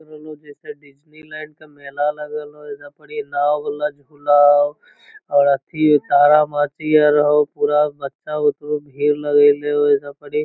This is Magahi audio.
लग रहलो हे जैसे डिज्नीलैंड के मेला लगल हइ | एजा पड़ी नांव वाला झुला हउ और अथि तारामाझी अ हउ पूरा बच्चा बुतरू भीड़ लगएले हउ एजा पडी |